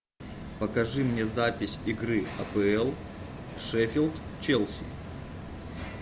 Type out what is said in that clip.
покажи мне запись игры апл шеффилд челси